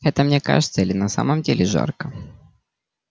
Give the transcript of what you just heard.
это мне кажется или на самом деле жарко